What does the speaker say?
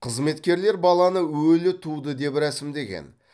қызметкерлер баланы өлі туды деп рәсімдеген